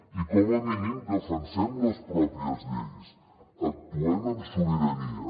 i com a mínim defensem les pròpies lleis actuem amb sobirania